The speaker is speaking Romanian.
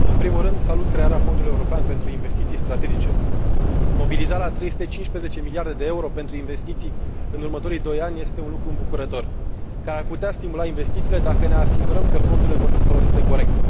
Domnule Președinte în primul rând salut crearea Fondului european pentru investiții strategice. Mobilizarea a 315 miliarde de euro pentru investiții în următorii doi ani este un lucru îmbucurător, care ar putea stimula investițiile, dacă ne asigurăm că fondurile vor fi folosite corect.